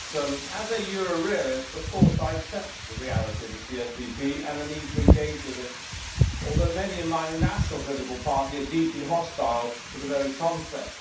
Madam President, as a Euro realist, of course I accept the reality of the CSDP and the need to engage with it, although many in my own national political party are deeply hostile to the very concept.